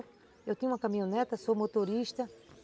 Eu tinha uma caminhoneta, sou motorista.